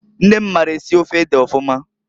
Nne m maara esi ofe ede ọfụma.